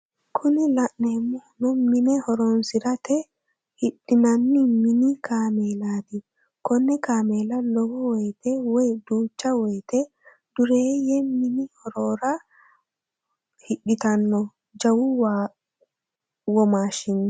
Kuni la'neemohu mine horonsirate hidhinanni mini kameelaati konne kameela lowo woyiite woy duucha woyiite dureeye mini horora hidhitanno jawu womaashshiho.